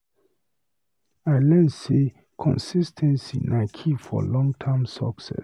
I learn sey consis ten cy na key for long-term success.